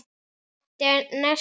Hann átti næsta leik.